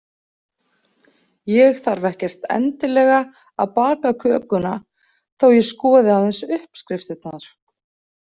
Ég þarf ekkert endilega að baka kökuna þó ég skoði aðeins uppskriftirnar.